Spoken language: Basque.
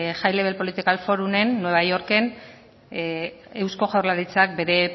high level forumen nueva yorken eusko jaurlaritzak bere